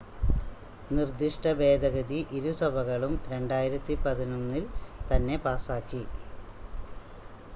നിർദ്ദിഷ്ട ഭേദഗതി ഇരുസഭകളും 2011-ൽ തന്നെ പാസാക്കി